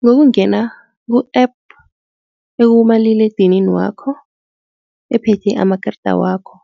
Ngokungena ku-app ekumaliledinini wakho ephethe amakarada wakho